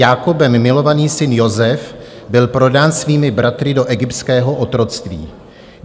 Jákobem milovaný syn Josef byl prodán svými bratry do egyptského otroctví.